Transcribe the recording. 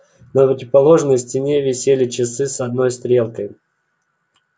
на противоположной стене висели часы с одной стрелкой